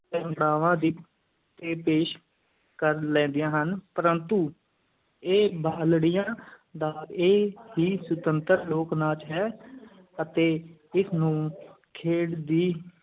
ਦੀ ਪੇਸ਼ ਕਰ ਲੈਂਦੀਆਂ ਹਨ ਪਰੰਤੂ ਇਹ ਬਾਲੜੀਆਂ ਦਾ ਇਹ ਹੀ ਸੁਤੰਤਰ ਲੋਕ-ਨਾਚ ਹੈ ਅਤੇ ਇਸ ਨੂੰ ਖੇਡ ਦੀ